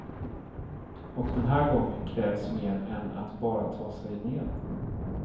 Och den här gången krävs mer än att bara ta sig ner.